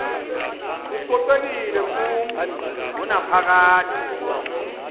kococekile kumi ngonaphakade